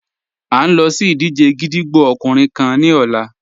À n lọ sí ìdíjẹ̀ gídígbò ọkùnrin kán ni ọ̀là.